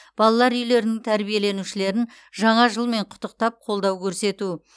балалар үйлерінің тәрбиеленушілерін жаңа жылмен құттықтап қолдау көрсету